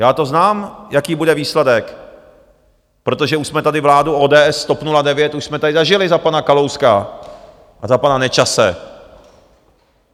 Já to znám, jaký bude výsledek, protože už jsme tady vládu ODS, TOP 09, už jsme tady zažili, za pana Kalouska a za pana Nečase.